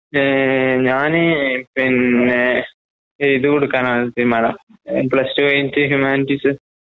ഏഹ് ഞാന് പിന്നെ ഇത്കൊടുക്കാനാതിരുമാട പ്ലസ്ടുകഴിഞ്ഞിട്ട്ഹ്യുമാനിറ്റീസ്.